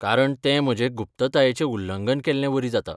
कारण तें म्हजे गुप्ततायेचें उल्लंघन केल्ले वरी जाता.